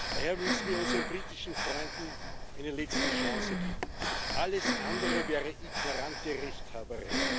Daher müssen wir unseren britischen Freunden eine letzte Chance geben, alles andere wäre ignorante Rechthaberei.